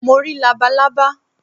Mo rí labalábá